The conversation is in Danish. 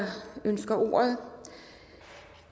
ønsker ordet